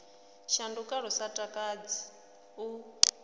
shanduka lu sa takadzi u